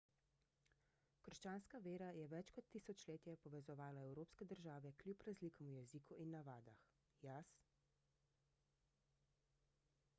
krščanska vera je več kot tisočletje povezovala evropske države kljub razlikam v jeziku in navadah jaz